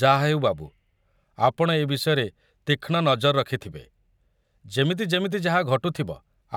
ଯାହା ହେଉ, ବାବୁ, ଆପଣ ଏ ବିଷୟରେ ତୀକ୍ଷ୍ଣ ନଜର ରଖିଥିବେ, ଯେମିତି ଯେମିତି ଯାହା ଘଟୁଥିବ,